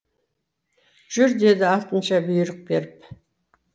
жүр деді артынша бұйрық беріп